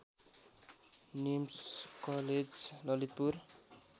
NIMS college Lalitpur